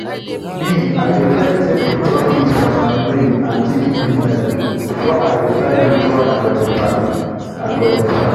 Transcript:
me i dey first check the profit from my maize and chicken business before i decide which one i go expand. i go expand.